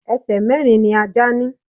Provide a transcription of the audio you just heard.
Ẹsẹ̀ mẹ̀rin ni Ajá ni.